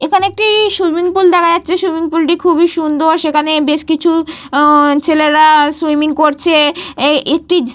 এখানে একটি swimming pool দেখা যাচ্ছে। সুইমিং পুল - টি খুবই সুন্দর। সেখানে বেশ কিছু উহঃ ছেলেরা সুইমিং করছে। একটি --